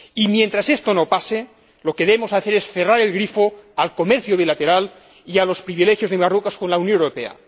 Mientras esto no pase, lo que debemos hacer es cerrar el grifo al comercio bilateral y a los privilegios de Marruecos con la Unión Europea.